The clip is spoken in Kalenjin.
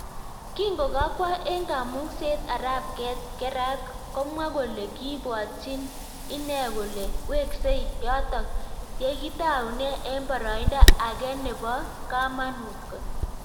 Kingokakwoo eng kamung'isiet arap Gerrat komwa kolee kiibwatyiin inee kolee weksee yatok yekitaunee eng paraindo Agee neboo kamanuut kot